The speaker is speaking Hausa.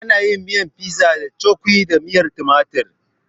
Ana yin pizza da cukwi da miyar tumatir